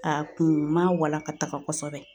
A kun ma walakataka kɔsɛbɛ.